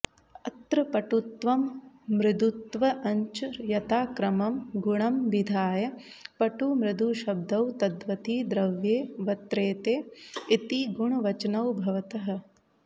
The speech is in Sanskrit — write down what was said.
अत्र पटुत्वं मृदुत्वञ्च यताक्रमं गुणमभिधाय पटुमृदुशब्दौ तद्वति द्रव्ये वत्र्तेते इति गुणवचनौ भवतः